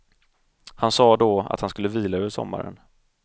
Han sa då, att han skulle vila över sommaren.